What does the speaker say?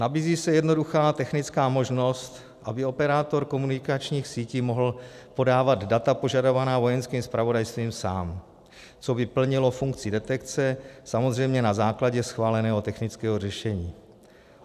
Nabízí se jednoduchá technická možnost, aby operátor komunikačních sítí mohl podávat data požadovaná Vojenským zpravodajstvím sám, což by plnilo funkci detekce, samozřejmě na základě schváleného technického řešení.